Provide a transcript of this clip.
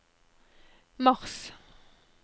mars